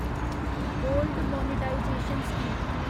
gold monetization scheme